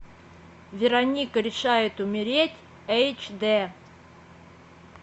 вероника решает умереть эйч дэ